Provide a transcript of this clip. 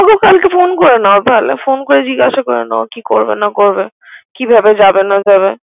হ্যা তাহলে ওকে ফোন করে নাও। ফোন করে জিগাসা করে নাও কি করবে না করবে। কিভাবে যাবে না যাবে।